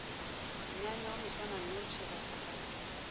monyanya wa moswananoši ra phaphasela